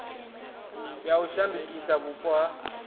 ya u shandukisa vhupo ha